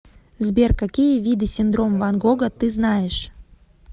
сбер какие виды синдром ван гога ты знаешь